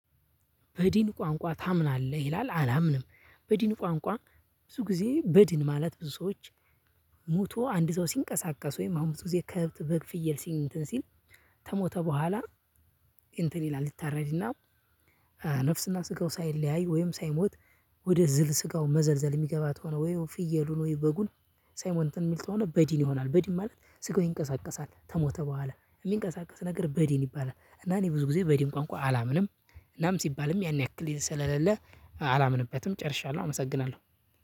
በዲን ቋንቋ ታምናለህ? ይላል አላምንም በዲን ቋንቋ ብዙ ጊዜ በድን ማለት ብዙ ሰዎች። ሞቶ አንድ ሰው ሲንቀሳቀስ ወይም አሁን ብዙ ጊዜ ከብት፣ በግ፣ ፍየል እንትን ሲል። ከሞተ በኋላ። እንትን ይላል ይታረድና። ነፍስና ስጋው ሳይለያይ ወይም ሳይሞት ወደ ዝል ስጋው መዘልዘል የሚገባ ከሆነ ወይ ፍየሉን ወይ በጉን። ሳይሞት እንትን የሚል ተሆነ በድን ይሆናል። በድን ማለት ስጋው ይንቀሳቀሳል ተሞተ በኋላ የሚንቀሳቀስ ነገር በድን ይባላል። እና እኔ ብዙ ጊዜ በድን ቋንቋ አላምንም። እናም ሲባልም ያን ያክል ስለሌለ አላምንበትም። ጨርሻለሁ አመሰግናለሁ።